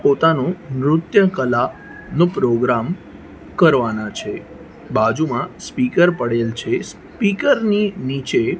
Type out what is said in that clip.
પોતાનું નૃત્ય કલાનો પ્રોગ્રામ કરવાના છે બાજુમાં સ્પીકર પડેલ છે સ્પીકર ની નીચે--